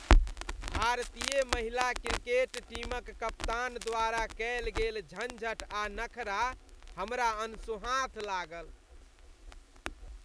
भारतीय महिला क्रिकेट टीमक कप्तान द्वारा कएल गेल झंझट आ नखरा हमरा अनसोहाँत लागल।